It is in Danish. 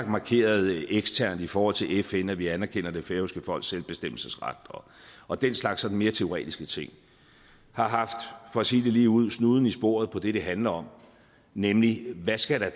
markeret eksternt i forhold til fn at vi anerkender det færøske folks selvbestemmelsesret og den slags sådan mere teoretiske ting har haft for at sige det ligeud snuden i sporet på det det handler om nemlig hvad skal der